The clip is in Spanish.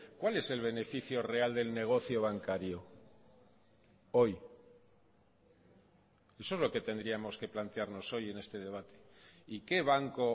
cuál es el beneficio real del negocio bancario hoy eso es lo que tendríamos que plantearnos hoy en este debate y qué banco